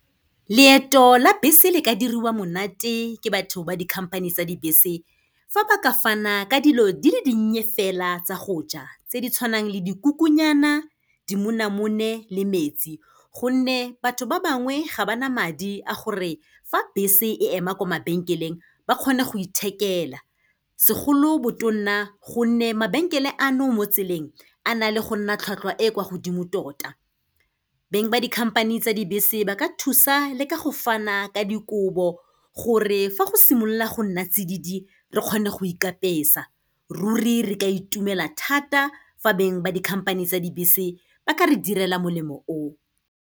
Leeto la bese le ka diriwa monate ke batho ba di-company tsa dibese, fa ba ka fana ka dilo di le dinnye fela tsa goja, tse di tshwanang le dikukunyana, dimonamone le metsi, gonne batho ba bangwe ga ba na madi a gore fa bese e ema kwa mabenkeleng ba kgone go ithekela, segolobotonna gonne mabenkele ano mo tseleng a na le gonna tlhwatlhwa e kwa godimo tota. Beng ba dikhamphane tsa dibese ba ka thusa le ka go fana ka dikobo, gore fa go simolola go nna tsididi re kgone go ikapesa, ruri re ka itumela thata fa beng ba dikhamphane tsa dibese ba ka re direla molemo o.